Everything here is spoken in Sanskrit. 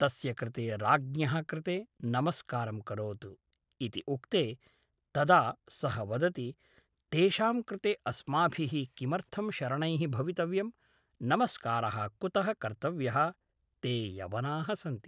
तस्य कृते राज्ञः कृते नमस्कारं करोतु इति उक्ते तदा सः वदति तेषां कृते अस्माभि: किमर्थं शरणैः भवितव्यम् नमस्कार: कुत: कर्तव्यः ते यवना: सन्ति